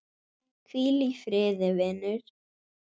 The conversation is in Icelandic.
Hvíl í friði vinur.